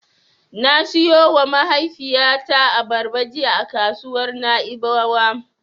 Na siyowa mahaifiyata abarba jiya a kasuwar Na'ibawa.